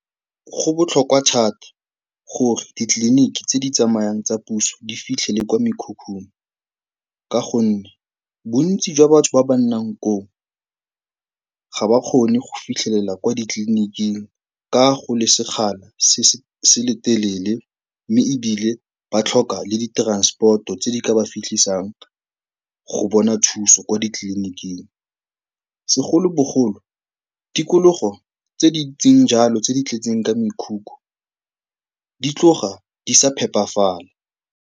Go botlhokwa thata gore ditleliniki tse di tsamayang tsa puso di fitlhe le kwa mekhukhung ka gonne bontsi jwa batho ba ba nnang koo ga ba kgone go fitlhelela kwa ditleliniking ka go le sekgala se se telele Mme ebile ba tlhoka le di-transport-o tse di ka ba fitlhisang go bona thuso kwa ditleliniking. Segolobogolo, tikologo tse di ntseng jalo tse di tletseng ka mekhukhu, di tloga di sa phepafala.